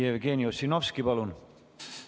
Jevgeni Ossinovski, palun!